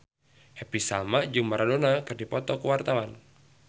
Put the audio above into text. Happy Salma jeung Maradona keur dipoto ku wartawan